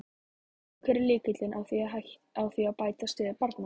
En hver er lykillinn að því að bæta stöðu barna?